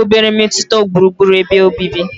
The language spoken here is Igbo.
obere mmetụta gburugburu ebe obibi.